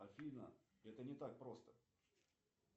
афина это не так просто